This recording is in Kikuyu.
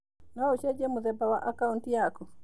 No ũcenjie mũthemba wa akaũnti yaku.